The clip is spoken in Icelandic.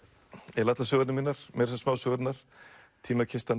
eiginlega allar sögurnar mínar meira að segja smásögurnar